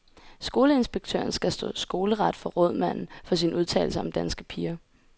Skoleinspektøren skal stå skoleret for rådmanden for sin udtalelse om danske piger.